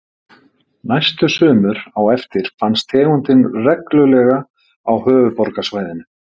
Næstu sumur á eftir fannst tegundin reglulega á höfuðborgarsvæðinu.